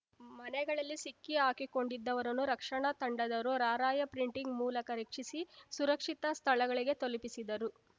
ಮನೆಗಳಲ್ಲೇ ಸಿಕ್ಕಿಹಾಕಿಕೊಂಡಿದ್ದವರನ್ನು ರಕ್ಷಣಾ ತಂಡದವರು ರಾರ‍ಯಪ್ರಿಂಟಿಂಗ್ ಮೂಲಕ ರಕ್ಷಿಸಿ ಸುರಕ್ಷಿತ ಸ್ಥಳಗಳಿಗೆ ತಲುಪಿಸಿದರು